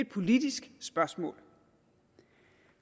politisk spørgsmål